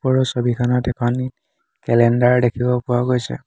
ওপৰৰ ছবিখনত এখন কেলেণ্ডাৰ দেখিব পোৱা গৈছে।